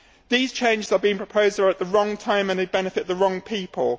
These changes are being proposed at the wrong time and they benefit the wrong people.